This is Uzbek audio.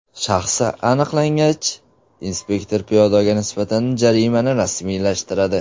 Shaxsi aniqlangach, inspektor piyodaga nisbatan jarimani rasmiylashtiradi.